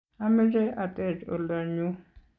ameche a tech oldo nyu